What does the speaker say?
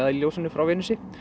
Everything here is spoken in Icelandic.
í ljósinu frá Venusi